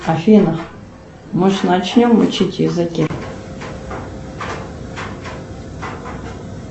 афина может начнем учить языки